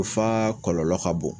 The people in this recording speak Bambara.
U f'a kɔlɔlɔ ka bon